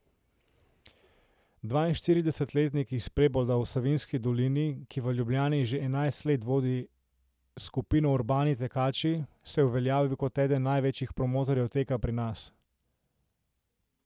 Dvainštiridesetletnik iz Prebolda v Savinjski dolini, ki v Ljubljani že enajst let vodi skupino Urbani tekači, se je uveljavil kot eden največjih promotorjev teka pri nas.